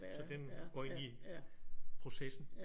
Så den går ind i processen?